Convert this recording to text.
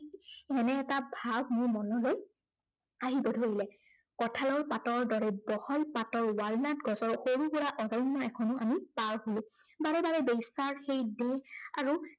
এনে এটা ভাৱ মোৰ মনলৈ, আহিব ধৰিলে। কঠালৰ পাতৰ দৰে বহল পাতৰ ৱালনাট গছৰ সৰু সুৰা অৰণ্য় এখনো আমি পাৰ হলো। বাৰে বাৰে বেশ্য়াৰ সেই দেহ